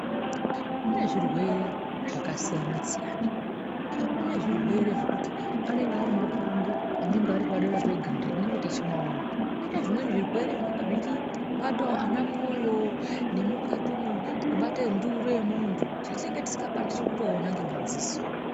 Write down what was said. Kune zvirwere zvakasiyana-siyana. Kune zvirwere zvekuti anenge ari mapundu anenge ari padera peganda petinenge tichimaona. Koite zvimweni zvirwere zvinenge zvichibatawo anamwoyo nemukati umwo kubata nduru yemuntu yetisingatokwanisi kutoona ngemadziso.